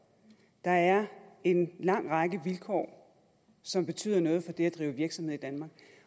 der er en lang række vilkår som betyder noget for det at drive virksomhed i danmark